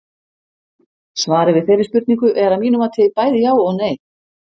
Svarið við þeirri spurningu er að mínu mati bæði já og nei.